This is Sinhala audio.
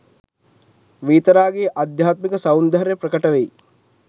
වීතරාගී අධ්‍යාත්මික සෞන්දර්යය ප්‍රකට වෙයි.